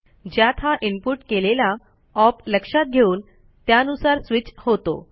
ज्यात हा इनपुट केलेला ओप लक्षात घेऊन त्यानुसार स्विच होतो